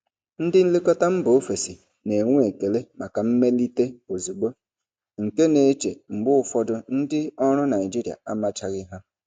Ndị nlekọta mba ofesi na-enwe ekele maka mmelite ozugbo, nke na-eche mgbe ụfọdụ ndị ọrụ Naijiria amachaghị ha.